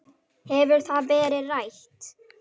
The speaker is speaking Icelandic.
Hefur það verið rætt?